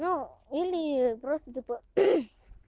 ну или просто типа